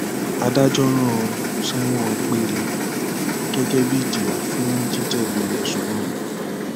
adájọ rán an sẹwọn gbére gẹgẹ bíi ìjìyà fún jíjẹbi ẹsùn náà